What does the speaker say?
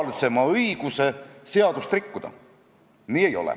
Kuid eesti emakeelega inimesed risustavad, vägistavad, solgivad eesti keelt.